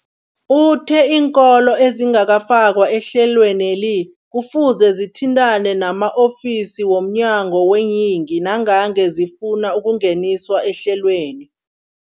Uthe iinkolo ezingakafakwa ehlelweneli kufuze zithintane nama-ofisi wo mnyango weeyingi nangange zifuna ukungeniswa ehlelweni.